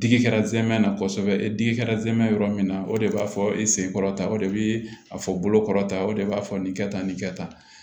Digi kɛra zɛmɛ na kosɛbɛ e digi kɛra zɛmɛ yɔrɔ min na o de b'a fɔ i senkɔrɔ tan o de be a fɔ bolokɔrɔta o de b'a fɔ nin kɛ tan nin kɛ tan